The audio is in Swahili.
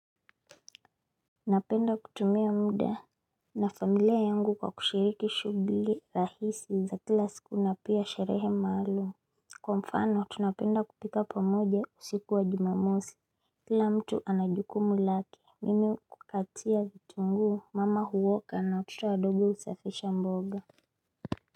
Napenda kutumia muda na familia yangu kwa kushiriki shughli rahisi za kila siku na pia sherehe maalum Kwa mfano tunapenda kupika pamoja usiku wa jumamosi kila mtu anajukumu lake mimi kukatia vitunguu mama huwoka na watoto wadogo husaifisha mboga.